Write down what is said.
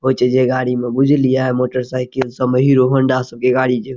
ओइ छे जे गाडी में बुझलिए मोटरसाइकिल सब में हीरो होंडा सब के गाडी जे --